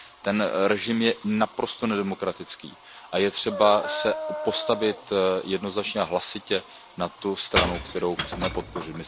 Ten režim je naprosto nedemokratický a je třeba se postavit jednoznačně a hlasitě na tu stranu, kterou chceme podpořit.